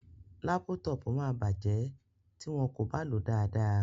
Lápútọpù máa bàjẹ́ tí wọn kò bá lò ó dáadáa.